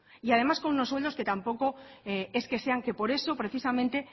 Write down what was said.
y además con unos sueldos que tampoco es que sean que por eso precisamente